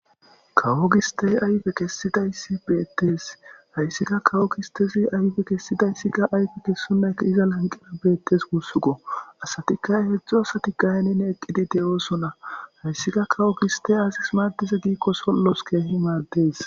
Kawo gisteyi ayfe kessidayssi beettes hayssika kawokistesi ayfe kessidayssika ayfe kessonnayka iza lanqina beettes gussuko asatika hedzdzo asati gayanenne eqqidi de7ooso na hayssika kawo kistey aasis maadize giikko sollos keehi maaddees